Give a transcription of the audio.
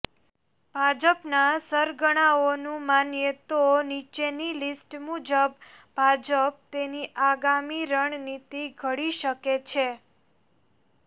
ભાજપનાં સરગણાઓનું માનીયે તો નીચેની લિસ્ટ મુજબ ભાજપ તેની આગામી રણનીતિ ઘડી શકે છે